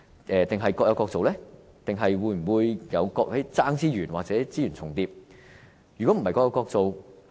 是否各有各做，還是會出現競爭資源或資源重疊的情況呢？